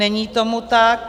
Není tomu tak.